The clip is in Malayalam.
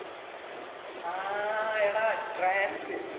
ആ എടാ, trance.